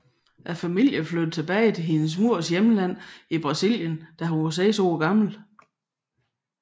Familen flyttede tillbage til hendes mors hjemland Brasilien da hun var seks år gammel